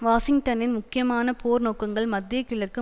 வாஷிங்டனின் முக்கியமான போர் நோக்கங்கள் மத்திய கிழக்கு